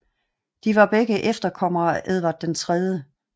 De var begge efterkommere af Edvard 3